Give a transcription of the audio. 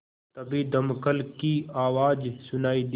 तभी दमकल की आवाज़ सुनाई दी